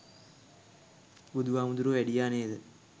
බුදු හාමුදුරුවො වැඩියා නේද